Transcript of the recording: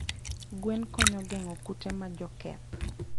Gwen konyo gengo kute majoketh